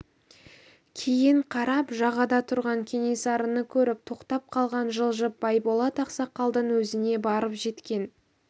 кейін қарап жағада тұрған кенесарыны көріп тоқтап қалған жылжып байболат ақсақалдың өзіне барып жеткен